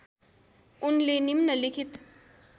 उनले निम्नलिखित